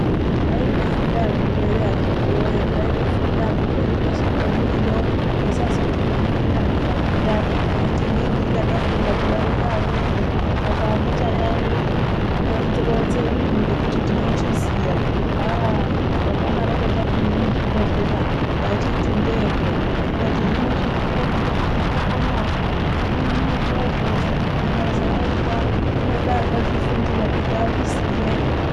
Kwai kufunda hakuperi akhiti voye kwai kufunda hakuperi kweshe kwemuriyo. Musazoti kwemunonyahamba kuya moti inini ndini ndakafunda kudarika amweni. Saka handicha yaiyi unoronze uyu ngekuti ndinochiziya aa takadaroko tapinde muzvibhedhlera tachiti ndeepo. Tikati hino chinoite kutokonywa-tokonywazvo zvinyi izvozvo zvikazi haiva zvinoda akazvifundira kuti azviziye.